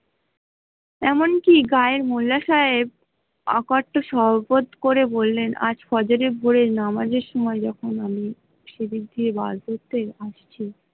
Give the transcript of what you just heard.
এমন কি গ্রায়ের মোল্লা সাহেব অ কট্ট করে বললেন আজ নামাজের সময় ।